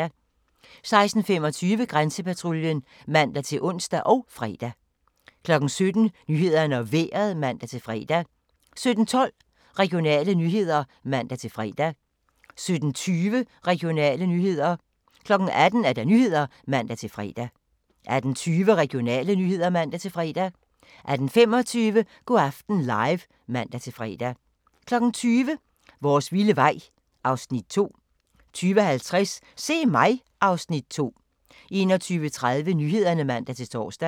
16:25: Grænsepatruljen (man-ons og fre) 17:00: Nyhederne og Vejret (man-fre) 17:12: Regionale nyheder (man-fre) 17:20: Regionale nyheder 18:00: Nyhederne (man-fre) 18:20: Regionale nyheder (man-fre) 18:25: Go' aften Live (man-fre) 20:00: Vores vilde vej (Afs. 2) 20:50: Se mig! (Afs. 2) 21:30: Nyhederne (man-tor)